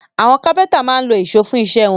Àwọn kápẹ́ńtà máa ń lo ìṣó fún iṣẹ́ wọn.